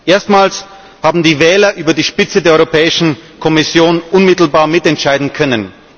Erstmals haben die Wähler über die Spitze der Europäischen Kommission unmittelbar mitentscheiden können.